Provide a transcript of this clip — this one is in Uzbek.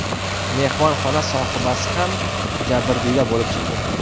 Mehmonxona sohibasi ham jabrdiyda bo‘lib chiqdi.